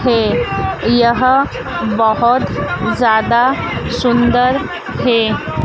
है यह बहुत ज्यादा सुंदर है।